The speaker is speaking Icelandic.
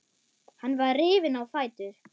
Hann var rifinn á fætur.